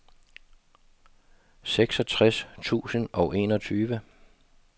seksogtres tusind og enogtyve